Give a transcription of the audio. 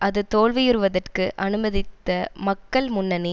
அது தோல்வியுறுவதற்கு அனுமதித்த மக்கள் முன்னணி